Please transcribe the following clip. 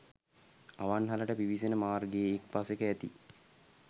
අවන්හලට පිවිසෙන මාර්ගයේ එක් පසෙක ඇති